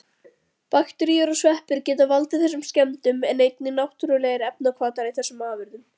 Bakteríur og sveppir geta valdið þessum skemmdum en einnig náttúrulegir efnahvatar í þessum afurðum.